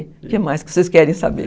O que mais que vocês querem saber?